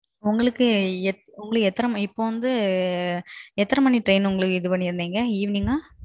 உங்களுக்கு எதுன்னு மணி Train Evening ah?